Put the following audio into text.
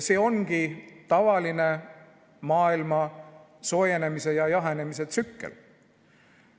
See ongi tavaline maailma soojenemise ja jahenemise tsükkel.